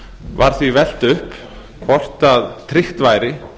var því velt upp hvort tryggt væri